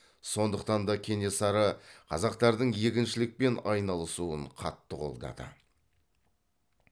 сондықтан да кенесары қазақтардың егіншілікпен айналысуын қатты қолдады